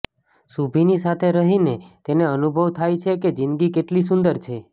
શુભિની સાથે રહીને તેને અનુભવ થાય છે કે જીંદગી કેટલી સુંદર છે